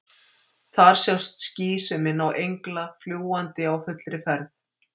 Þar sjást ský sem minna á engla, fljúgandi á fullri ferð.